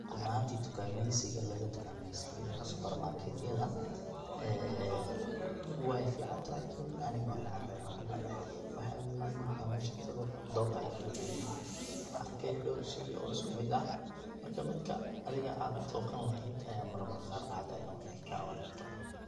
Run ahantii tukaameysiga laga tukameysanayo subarmaketyada ee way ficantahay lakin aniga wan necbahay, waxaan kunecbahay waxaa weye markan mesha tago dooqa ayan kuwareeri, waxan arkaya dhoor shey oo isku mid ah, marka midka adiga ad dooqan lahaday aya marmar qaar dhacda inay kaa wareerto